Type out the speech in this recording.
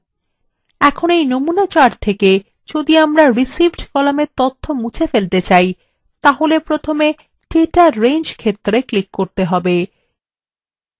এখন এই নমুনা chartwe যদি আমরা received কলামের তথ্য মুছে ফেলতে chart তাহলে প্রথমে data range ক্ষেত্রwe ক্লিক করতে হবে